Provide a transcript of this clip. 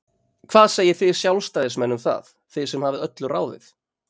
Hvað segið þið Sjálfstæðismenn um það, þið sem hafið öllu ráðið?